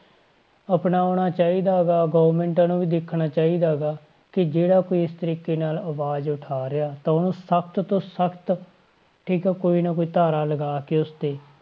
ਅਪਣਾਉਣਾ ਚਾਹੀਦਾ ਗਾ government ਨੂੰ ਵੀ ਦੇਖਣਾ ਚਾਹੀਦਾ ਗਾ ਕਿ ਜਿਹੜਾ ਕੋਈ ਇਸ ਤਰੀਕੇ ਨਾਲ ਆਵਾਜ਼ ਉਠਾ ਰਿਹਾ ਤਾਂ ਉਹਨੂੰ ਸਖ਼ਤ ਤੋਂ ਸਖ਼ਤ, ਠੀਕ ਆ ਕੋਈ ਨਾ ਕੋਈ ਧਾਰਾ ਲਗਾ ਕੇ ਉਸ ਤੇ,